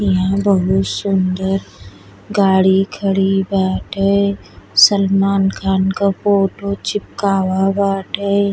ईहा बहुत सुन्दर गाड़ी खड़ी बाटे। सलमान खान क फोटो चिपकावा बाटे।